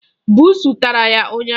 Buusu tara ya ụnyaahụ.